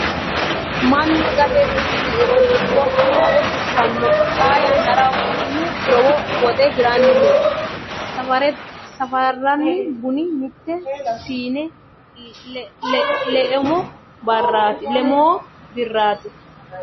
Mannu gate bunu leiro dikkono haare fushshanno. Xaa yannara bunu lowo woxe hiranni noo. Safarranni buni mitte siine lemoo birraati.